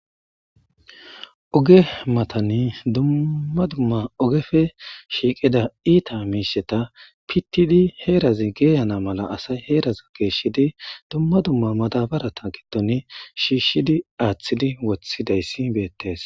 Oge matani dumma dumma ogefe shiiqida iita miisheta pittidi heerazi geeyana mala asay heeraz geeshshidi dumma dumma madabarata giddon shiishshidi aaththidi wothidayssi beettes.